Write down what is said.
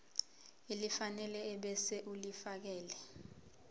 elifanele ebese ulifiakela